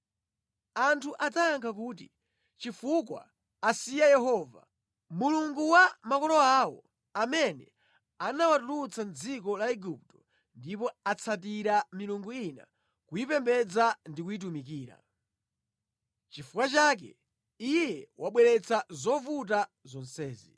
Anthu adzayankha kuti, ‘Nʼchifukwa chakuti asiya Yehova, Mulungu wa makolo awo, amene anawatulutsa mʼdziko la Igupto ndipo akangamira milungu ina ndi kumayipembedza ndi kuyitumikira. Choncho Iye wabweretsa zovuta zonsezi.’ ”